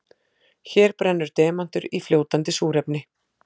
Hér brennur demantur í fljótandi súrefni.